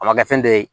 A ma kɛ fɛn dɔ ye